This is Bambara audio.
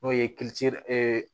N'o ye